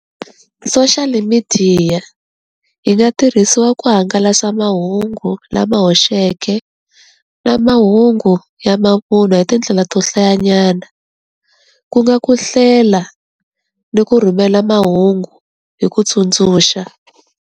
Soshiyali midiya yi nga tirhisiwa ku hangalasa mahungu lama hoxeke na mahungu ya mavunwa hi tindlela to hlayanyana ku nga ku hlela ni ku rhumela mahungu hi ku tsundzuxa.